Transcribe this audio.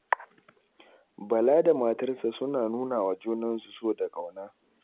Bala da matarsa suna nuna wa junansu so da ƙauna.